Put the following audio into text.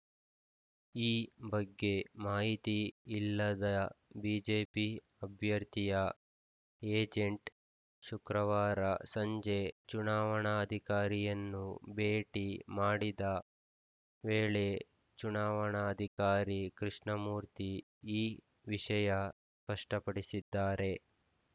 ಈ ಬಗ್ಗೆ ಮಾಹಿತಿ ಇಲ್ಲದ ಬಿಜೆಪಿ ಅಭ್ಯರ್ಥಿಯ ಏಜೆಂಟ್‌ ಶುಕ್ರವಾರ ಸಂಜೆ ಚುನಾವಣಾಧಿಕಾರಿಯನ್ನು ಭೇಟಿ ಮಾಡಿದ ವೇಳೆ ಚುನಾವಣಾಧಿಕಾರಿ ಕೃಷ್ಣಮೂರ್ತಿ ಈ ವಿಷಯ ಕಷ್ಟಪಡಿಸಿದ್ದಾರೆ